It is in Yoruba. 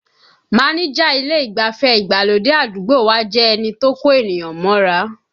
Máníjà ilé ìgbafẹ́ ìgbàlódé àdúgbò wa jẹ́ ẹni tó kó ènìyàn mọ́ra